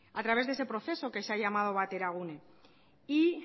a través de ese proceso que se ha llamado bateragune y